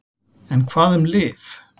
En hvað um lyf?